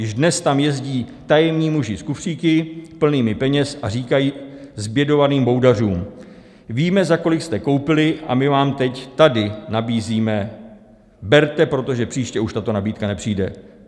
Již dnes tam jezdí tajemní muži s kufříky plnými peněz a říkají zbědovaným boudařům: Víme, za kolik jste koupili, a my vám teď tady nabízíme, berte, protože příště už tato nabídka nepřijde.